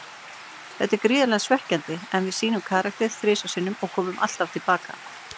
Þetta er gríðarlega svekkjandi, en við sýndum karakter þrisvar sinnum og komum alltaf til baka.